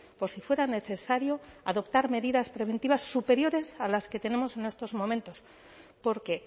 por si fuera necesario adoptar medidas preventivas superiores a las que tenemos en estos momentos porque